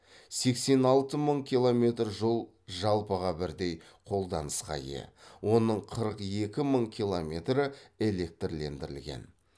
сексен алты мың километр жол жалпыға бірдей қолданысқа ие оның қырық екі мың километрі электрлендірілген